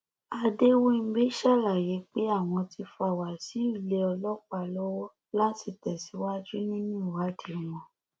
adéwìnḿbí ṣàlàyé pé àwọn ti fa wáṣíù lé ọlọpàá lọwọ láti tẹsíwájú nínú ìwádìí wọn